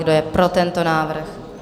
Kdo je pro tento návrh?